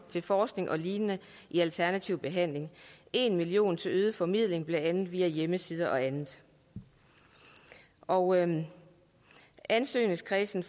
til forskning og lignende i alternativ behandling og en million kroner til øget formidling blandt andet via hjemmesider og andet og andet ansøgerkredsen